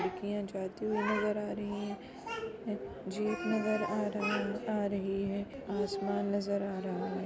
जयतु नज़र आ रही हैं जीप नज़र आ रहा आ रही है आसमान नजर आ रहा है ।